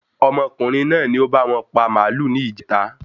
Ọmọkùnrin náà ni o báwọn pa màálù ní ìjèta